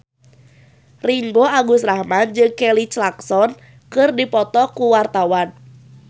Ringgo Agus Rahman jeung Kelly Clarkson keur dipoto ku wartawan